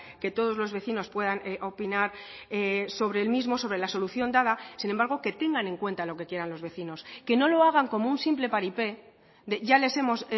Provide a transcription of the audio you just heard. que todos los vecinos puedan opinar sobre el mismo sobre la solución dada sin embargo que tengan en cuenta lo que quieran los vecinos que no lo hagan como un simple paripé de ya les hemos